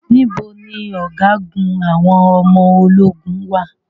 Níbo ni Ọ̀gágun àwọn ọmọ ológun wà?